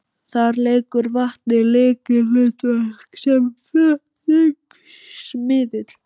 Þar leikur vatnið lykilhlutverk sem flutningsmiðill.